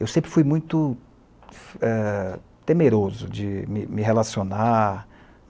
Eu sempre fui muito eh, temeroso de me me relacionar.